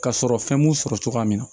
Ka sɔrɔ fɛn m'u sɔrɔ cogoya min na